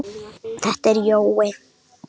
Þetta er Jói!